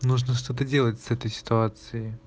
нужно что-то делать с этой ситуацией